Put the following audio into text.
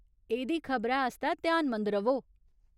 एह्दी खबरै आस्तै ध्यानमंद र'वो